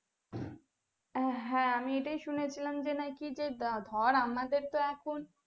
আহ হ্যাঁ আমি এটাই শুনেছিলাম যে নাকি ধরে আমাদের তো এখন